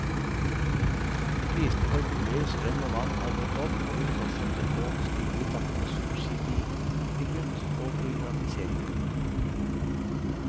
Prisene for boliger, strøm og vann har gått opp, og vil fortsette å stige i takt med subsidiekutt og privatisering.